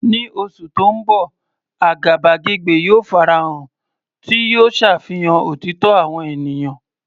Ní oṣù tó ń bọ̀, àgàbàgebè yóò farahàn, tí yóò ṣàfihàn òtítọ́ àwọn ènìyàn.